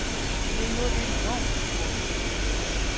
Det er jo enormt stort.